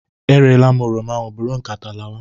E reela m oroma ahụ, bụrụ nkata lawa!